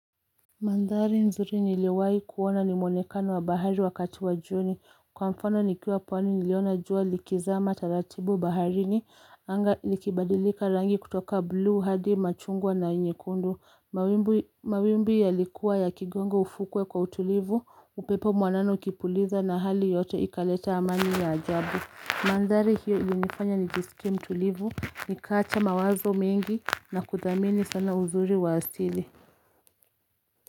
Mandhari nzuri niliwahi kuona ni mwonekano wa bahari wakati wa jioni kwa mfano nikiwa pwani niliona jua likizama taratibu baharini anga likibadilika rangi kutoka blue hadi machungwa na nyekundu Mawimbi yalikuwa yakigonga ufukwe kwa utulivu upepo mwanana ukipuliza na hali yote ikaleta amani ya ajabu Mandhari hiyo ilinifanya nijisikie mtulivu nikaacha mawazo mingi na kuthamini sana uzuri wa asili.